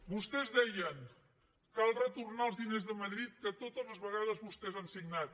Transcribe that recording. vostès deien cal retornar els diners de madrid que totes les vegades vostès han signat